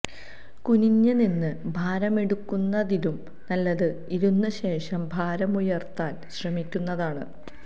കുനിഞ്ഞു നിന്ന് ഭാരമെടുക്കുന്നതിലും നല്ലത് ഇരുന്ന ശേഷം ഭാരമുയര്ത്താന് ശ്രമിക്കുന്നതാണ്